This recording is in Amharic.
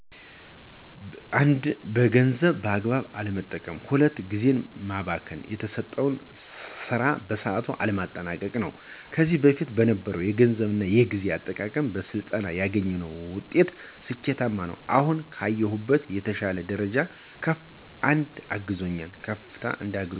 1 ገንዘብን በአግባቡ አለመጠቀም። 2 ጊዜን ማባከን የተሰጠውን ሰራ በሰአቱ አለማጠናቀቅ ነው። ከዚህ በፊት ከነበረው የገንዘብ እና የጊዜ አጠቃቀም በስልጠና ያገኘውት ውጤት ስኬታማ ነው። አሁን ካለዉበት የተሻ ደረጃ ከፍ እንድ አግዞኛል።